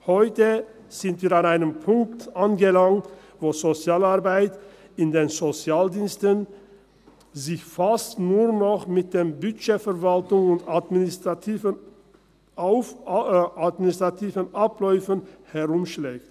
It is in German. Heute sind wir an einem Punkt angelangt, wo sich in der Sozialarbeit die Sozialdienste fast nur noch mit der Budgetverwaltung und administrativen Abläufen herumschlagen.